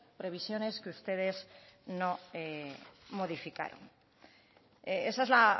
previsiones que ustedes no modificaron esa es la